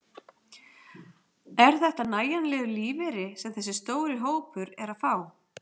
Er þetta nægjanlegur lífeyri sem þessi stóri hópur er að fá?